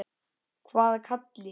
Hvaða Kalli?